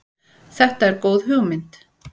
Þetta er góð hugmynd.